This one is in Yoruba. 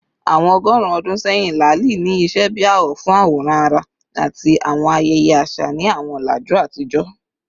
Awọn ọgọrun ọdun sẹyin, laali ni iṣẹ bi awọ fun aworan ara ati awọn ayẹyẹ aṣa ni awọn ọlaju atijọ.